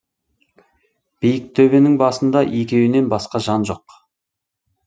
биік төбенің басында екеуінен басқа жан жоқ